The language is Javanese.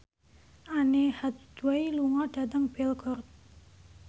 Anne Hathaway lunga dhateng Belgorod